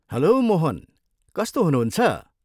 Hello Mohan, कस्तो हुनुहुन्छ?